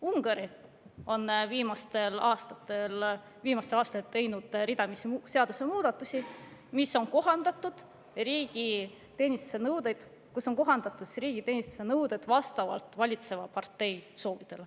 Ungari on viimastel aastatel teinud ridamisi seadusemuudatusi, millega on kohandatud riigiteenistuse nõudeid vastavalt valitseva partei soovidele.